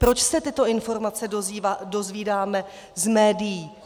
Proč se tyto informace dozvídáme z médií?